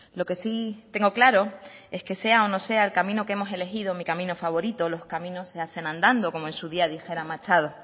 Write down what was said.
lo que sí tengo claro es que sea o no sea el camino que hemos elegido mi camino favorito los caminos se hacen andando como en su día dijera machado